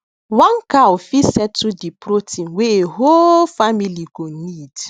one cow fit settle de protein wey a whole family go need